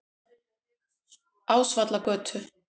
Ásvallagötu